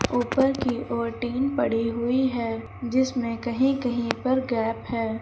ऊपर की ओर टीन पड़ी हुई है जिसमें कहीं कहीं पर गैप है।